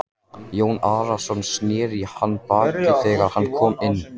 Jón Arason sneri í hann baki þegar hann kom inn.